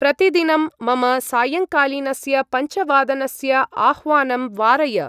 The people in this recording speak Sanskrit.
प्रतिदिनं मम सायंकालीनस्य पञ्चवादनस्य आह्वानं वारय।